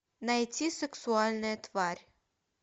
найти сексуальная тварь